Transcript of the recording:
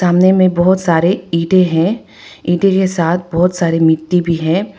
सामने में बहुत सारे ईंटें है ईंटें के साथ बहोत सारी मिट्टी भी है।